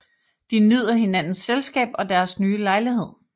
De nyder hinandens selskab og deres nye lejlighed